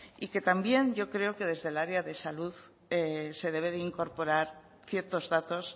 y que también yo creo que desde el área de salud se debe de incorporar ciertos datos